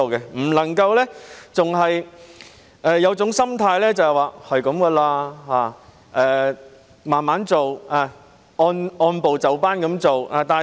政府不能夠仍有這種心態，即：凡事慢慢地做，按部就班地做。